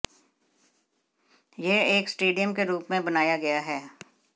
यह एक स्टेडियम के रूप में बनाया गया है